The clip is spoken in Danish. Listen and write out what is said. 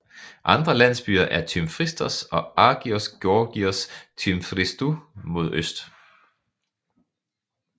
Andre landsbyer er Tymfristos og Agios Georgios Tymfristou mod øst